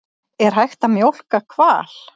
Er hægt að mjólka hval?